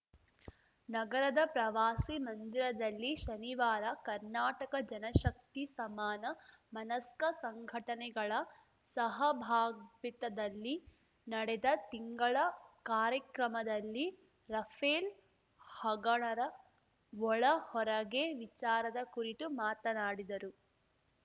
ನಗರದ ಪ್ರವಾಸಿ ಮಂದಿರದಲ್ಲಿ ಶನಿವಾರ ಕರ್ನಾಟಕ ಜನಶಕ್ತಿ ಸಮಾನ ಮನಸ್ಕ ಸಂಘಟನೆಗಳ ಸಹಭಾಗಿತ್ವದಲ್ಲಿ ನಡೆದ ತಿಂಗಳ ಕಾರ್ಯಕ್ರಮದಲ್ಲಿ ರಫೇಲ್‌ ಹಗಣರ ಒಳ ಹೊರಗೆ ವಿಚಾರದ ಕುರಿತು ಮಾತನಾಡಿದರು